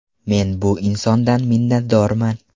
Men bu insondan minnatdorman.